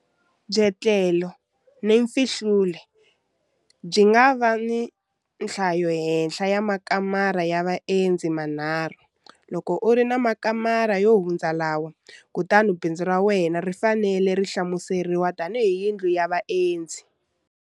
Byetlelo na Mfihlulo byi nga va na nhlayohenhla ya makamara ya vaendzi manharhu. Loko u ri na makamara yo hundza lawa, kutani bindzu ra wena ri fanele ri hlamuseriwa tanihi yindlu ya vaendzi.